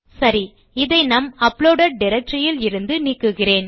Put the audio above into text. சரி இதை நம் அப்லோடெட் டைரக்டரி இலிருந்து நீக்குகிறேன்